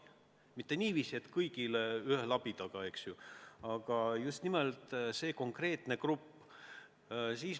Mitte niiviisi, et kõigile ühe labidaga, aga just nimelt see konkreetne grupp.